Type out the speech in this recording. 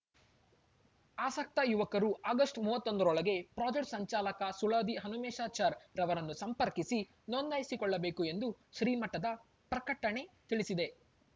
ಆಸಕ್ತ ಯುವಕರು ಆಗಸ್ಟ್ ಮೂವತ್ತೊಂದರೊಳಗೆ ಪ್ರಾಜೆಕ್ಟ್ನ ಸಂಚಾಲಕ ಸುಳಾದಿ ಹನುಮೇಶಾಚಾರ್‌ ರನ್ನು ಸಂಪರ್ಕಿಸಿ ನೋಂದಾಯಿಸಿಕೊಳ್ಳಬೇಕು ಎಂದು ಶ್ರೀಮಠದ ಪ್ರಕಟಣೆ ತಿಳಿಸಿದೆ